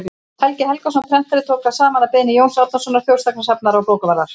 helgi helgason prentari tók þær saman að beiðni jóns árnasonar þjóðsagnasafnara og bókavarðar